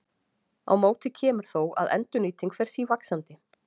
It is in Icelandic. Á móti kemur þó að endurnýting fer sívaxandi.